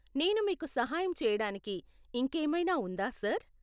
నేను మీకు సహాయం చెయ్యడానికి ఇంకేమైనా ఉందా, సర్?